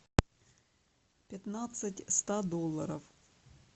пятнадцать ста долларов